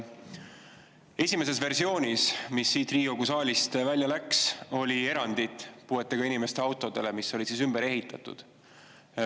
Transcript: Esimeses versioonis, mis siit Riigikogu saalist välja läks, oli erand puuetega inimeste autodele, mis on ümber ehitatud.